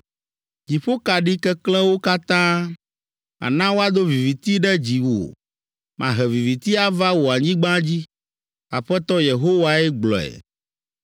Dziƒokaɖi keklẽwo katã, Mana woado viviti ɖe dziwò. Mahe viviti ava wò anyigba dzi, Aƒetɔ Yehowae gblɔe.